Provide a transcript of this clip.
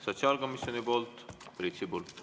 Sotsiaalkomisjoni poolt Priit Sibul.